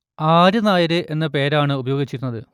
R Nair എന്ന പേരാണ് ഉപയോഗിച്ചിരുന്നത്